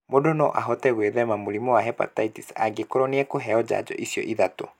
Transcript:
Mũndũ no ahote gwĩthema mũrimũ wa hepatitis angĩkorũo nĩ ekũheo njanjo icio ithatũ